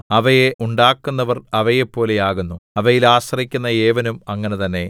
അവയെ ഉണ്ടാക്കുന്നവർ അവയെപ്പോലെ ആകുന്നു അവയിൽ ആശ്രയിക്കുന്ന ഏവനും അങ്ങനെ തന്നെ